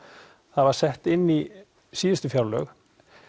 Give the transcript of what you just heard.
það var sett inn í síðustu fjárlög